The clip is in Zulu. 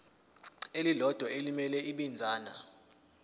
elilodwa elimele ibinzana